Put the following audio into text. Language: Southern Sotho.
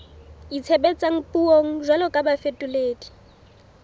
itshebetsang puong jwalo ka bafetoledi